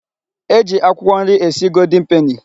E ji akwụkwọ nri esi goldin peni.